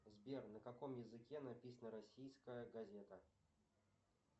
сбер на каком языке написана российская газета